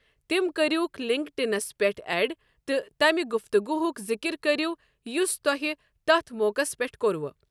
تم كریوٗكھ LinkedIn پیٹھ ایڈ تہٕ تمہِ گفتگوٗہک ذِكِر کٔرو یۄس توہہِ تتھ موقس پٮ۪ٹھ کٔروٕ ۔